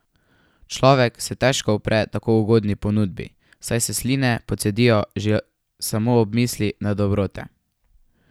Človek se težko upre tako ugodni ponudbi, saj se sline pocedijo že samo ob misli na dobrote.